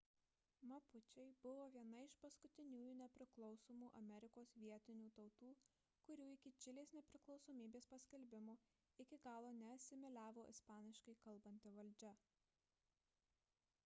mapučiai buvo viena iš paskutiniųjų nepriklausomų amerikos vietinių tautų kurių iki čilės nepriklausomybės paskelbimo iki galo neasimiliavo ispaniškai kalbanti valdžia